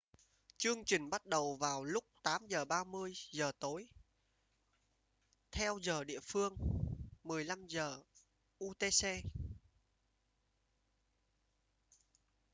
chương trình bắt đầu vào lúc 8:30 giờ tối theo giờ địa phương 15:00 utc